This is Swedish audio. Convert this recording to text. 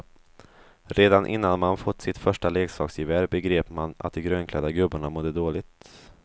Redan innan man fått sitt första leksaksgevär begrep man att de grönklädda gubbarna mådde dåligt.